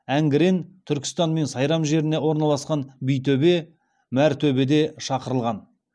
әңгірен түркістан мен сайрам жеріне орналасқан битөбе мәртөбеде шақырылған